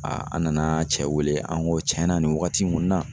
an nana cɛ wele, an ko cɛn na nin wagati in kɔni na